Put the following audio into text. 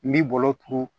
N b'i bolo turu